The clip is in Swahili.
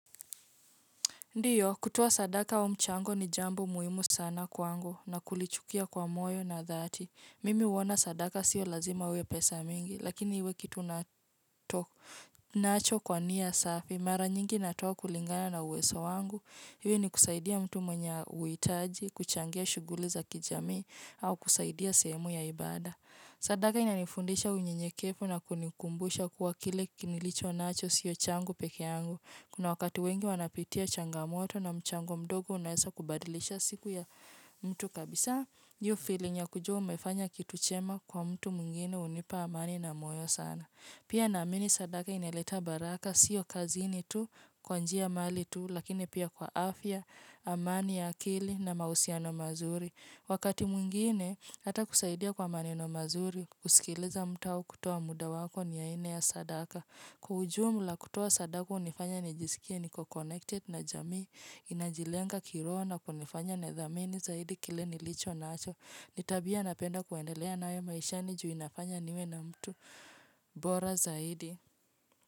Ndiyo kutoa sadaka wa mchango ni jambo muhimu sana kwangu na kulichukia kwa moyo na dhati. Mimi huona sadaka siyo lazima uwe pesa mingi, lakini iwe kitu unato unacho kwa nia safi. Mara nyingi natoa kulingana na uweso wangu. Iwe ni kusaidia mtu mwenye uitaji, kuchangia shughuli za kijamii au kusaidia sehemu ya ibada. Sadaka inanifundisha unyenyekefu na kunikumbusha kuwa kile kinilicho nacho siyo changu pekeangu. Kuna wakati wengi wanapitia changamoto na mchango mdogo unaesa kubadilisha siku ya mtu kabisa hio feeling ya kujua umefanya kitu chema kwa mtu mwingine hunipa amani na moyo sana. Pia naamini sadaka ineleta baraka siyo kazini tu kwa njia mali tu lakini pia kwa afya amani ya akili na mahusiano mazuri. Wakati mwingine hata kusaidia kwa maneno mazuri kusikiliza mtu au kutoa muda wako ni ya ine ya sadaka. Kuhujumu la kutoa sadaka hunifanya nijisikie niko connected na jamii inajilenga kiroho na kunifanya nithamini zaidi kile nilicho nacho ni tabia napenda kuendelea nayo maishani ju inafanya niwe na mtu bora zaidi.